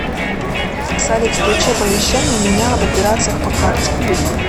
салют включи оповещение меня об операциях по карте